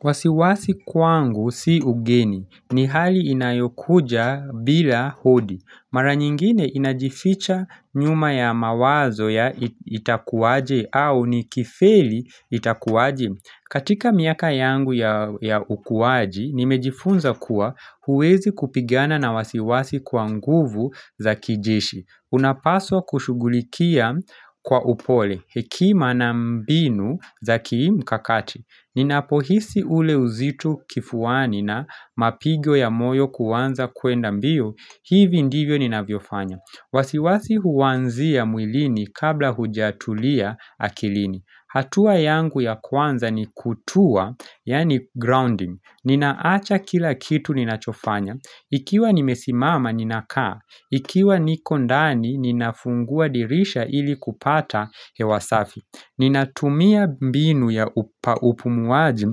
Wasi wasi kwangu si ugeni. Ni hali inayokuja bila udi. Mara nyingine inajificha nyuma ya mawazo ya itakuwaje au nikifeli itakuwaje. Katika miaka yangu ya ukuaji, nimejifunza kuwa huwezi kupigana na wasi wasi kwa nguvu za kijeshi. Unapaswa kushughulikia kwa upole, hekima na mbinu za kimkakati Ninapohisi ule uzito kifuani na mapigo ya moyo kuanza kuenda mbio, hivi ndivyo ninavyofanya wasi wasi huanzia mwilini kabla hujatulia akilini hatua yangu ya kwanza ni kutua, yani grounding Ninawacha kila kitu ninachofanya Ikiwa nimesimama ninakaa Ikiwa niko ndani, ninafungua dirisha ili kupata hewa safi Ninatumia mbinu ya upumuaji,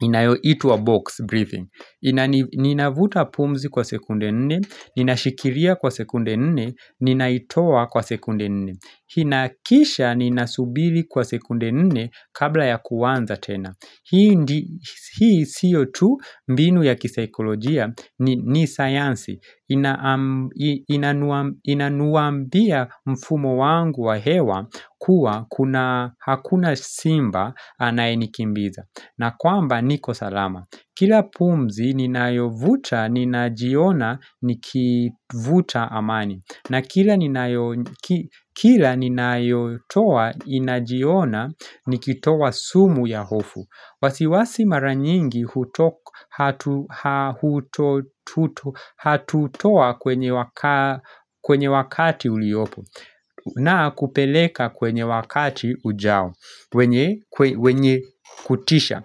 inayoitwa box breathing Ninavuta pumzi kwa sekunde nne, ninashikilia kwa sekunde nne, ninaitoa kwa sekunde nne inahakikisha ninasubiri kwa sekunde nne kabla ya kuanza tena Hii sio tu mbinu ya kisaikolojia ni sayansi Inauambia mfumo wangu wa hewa kuwa hakuna simba anayenikimbiza na kwamba niko salama Kila pumzi ninayovuta ninajiona nikivuta amani na kila ninayotoa inajiona nikitoa sumu ya hofu wasi wasi mara nyingi hatutoa kwenye wakati uliopo na kupeleka kwenye wakati ujao wenye kutisha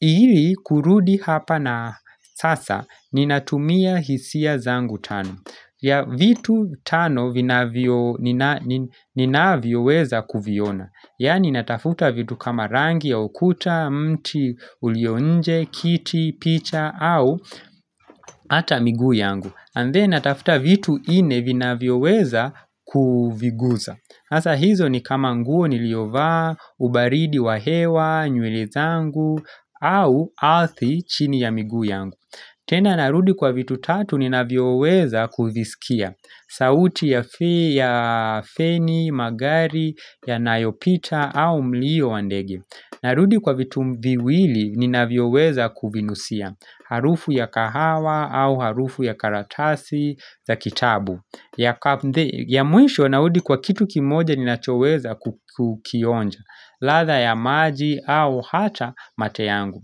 Ili kurudi hapa na sasa Ninatumia hisia zangu tano vitu tano ninavyoweza kuviona Yaani natafuta vitu kama rangi ya ukuta, mti, ulio nje, kiti, picha, au hata miguu yangu. And then natafuta vitu nne vinavyoweza kuviguza. Sasa hizo ni kama nguo niliyovaa, ubaridi wa hewa, nywele zangu, au ardhi chini ya miguu yangu. Tena narudi kwa vitu tatu ninavyoweza kuvisikia. Sauti ya feni, magari, yanayopita au mlio wa ndege Narudi kwa vitu miwili ninavyoweza kuvinusia Harufu ya kahawa au harufu ya karatasi za kitabu ya mwisho narudi kwa kitu kimoja ninachoweza kukionja ladha ya maji au hata mate yangu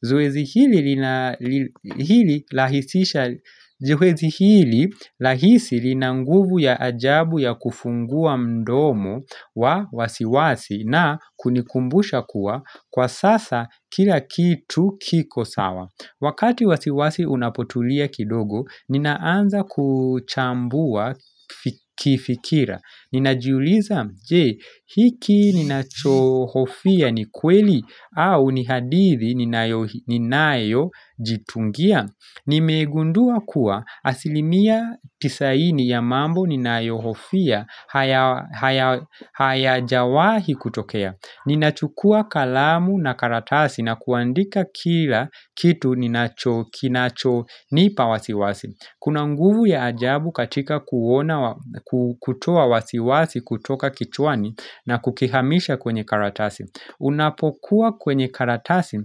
Zoezi hili rahisi lina nguvu ya ajabu ya kufungua mdomo wa wasi wasi na kunikumbusha kuwa kwa sasa kila kitu kiko sawa Wakati wasi wasi unapotulia kidogo ninaanza kuchambua kifikira Ninajiuliza je, hiki ninachohofia ni kweli au ni hadithi ninayojitungia Nimegundua kuwa asilimia tisini ya mambo ninayohofia hayajawahi kutokea Ninachukua kalamu na karatasi na kuandika kila kitu kinachonipa wasi wasi Kuna nguvu ya ajabu katika kutoa wasi wasi kutoka kichwani na kukihamisha kwenye karatasi Unapokuwa kwenye karatasi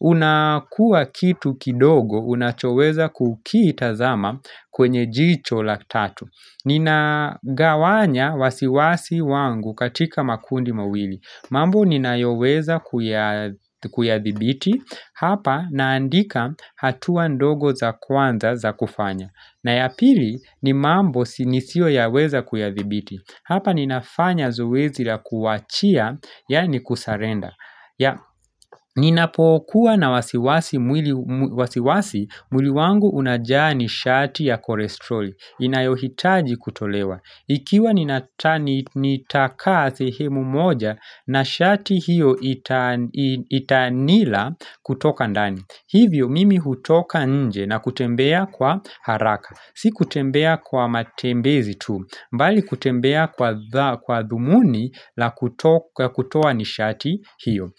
unakuwa kitu kidogo unachoweza kukitazama kwenye jicho la tatu Ninagawanya wasi wasi wangu katika makundi mawili mambo ninayoweza kuyadhibiti, hapa naandika hatua ndogo za kwanza za kufanya. Na ya pili ni mambo nisioyaweza kuyadhibiti. Hapa ninafanya zoezi la kuwachia, ya ni kusarenda. Ninapokuwa na wasi wasi mwili wangu unajaa nishati ya kolesteroli. Inayohitaji kutolewa. Ikiwa nitakaa sehemu moja na shati hiyo itanila kutoka ndani Hivyo mimi hutoka nje na kutembea kwa haraka Si kutembea kwa matembezi tu mbali kutembea kwa dhumuni la kutoa nishati hiyo.